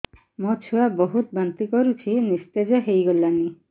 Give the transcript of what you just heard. ମୋ ଛୁଆ ବହୁତ୍ ବାନ୍ତି କରୁଛି ନିସ୍ତେଜ ହେଇ ଗଲାନି